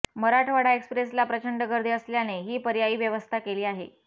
मराठवाडा एक्स्प्रेसला प्रचंड गर्दी असल्याने ही पर्यायी व्यवस्था केली आहे